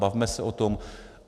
Bavme se o tom.